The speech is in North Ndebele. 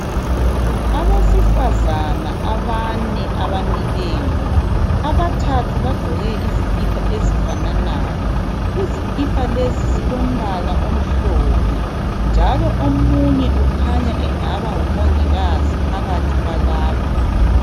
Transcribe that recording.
Abessifazana abane abamileyo abathathu bagqoke izikipa ezifananayo izikipa lezi zilompala omhlophe njalo omunye ukhanya engaba ngumongikazi phakathi kwalaba.